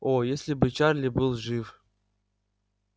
о если бы чарли был жив